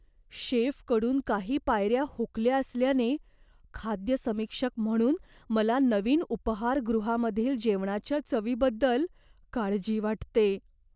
शेफकडून काही पायऱ्या हुकल्या असल्याने, खाद्य समीक्षक म्हणून मला नवीन उपाहारगृहामधील जेवणाच्या चवीबद्दल काळजी वाटते.